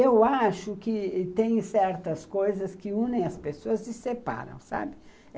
Eu acho que tem certas coisas que unem as pessoas e separam, sabe?